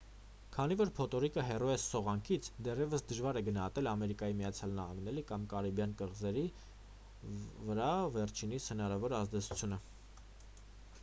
քանի որ փոթորիկը հեռու է սողանքից դեռևս դժվար է գնահատել ամերիկայի միացյալ նահանգների կամ կարիբյան կղզիների վրա վերջինիս հնարավոր ազդեցությունը